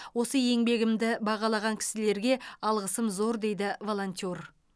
осы еңбегімді бағалаған кісілерге алғысым зор дейді волонтер